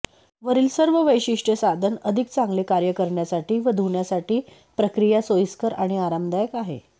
वरील सर्व वैशिष्ट्ये साधन अधिक चांगले कार्य करण्यासाठी व धुण्यासाठी प्रक्रिया सोयीस्कर आणि आरामदायक आहे